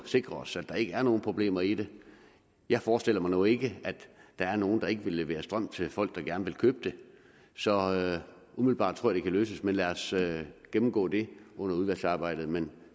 sikre os at der ikke er nogen problemer i det jeg forestiller mig nu ikke at der er nogle der ikke vil levere strøm til folk der gerne vil købe det så umiddelbart tror det kan løses men lad os gennemgå det under udvalgsarbejdet men